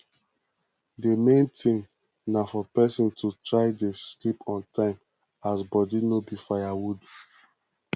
the main thing na for person to try dey sleep on time as body no be firewood